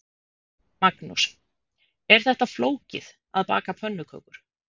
Magnús: Er þetta flókið, að baka pönnukökur?